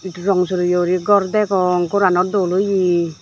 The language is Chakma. rong soreye uri gor degong gor aano dol oye.